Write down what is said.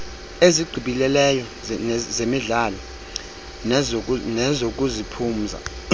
ezigqibeleleyo zezemidlalo nezokuziphumza